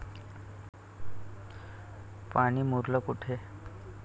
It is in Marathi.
पाणी मुरलं कुठे?